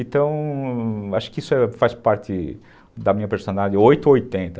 Então, acho que isso faz parte da minha personalidade de oito ou oitenta.